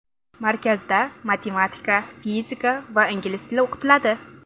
Markazda matematika, fizika va ingliz tili o‘qitiladi.